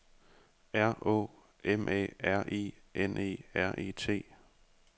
R Å M A R I N E R E T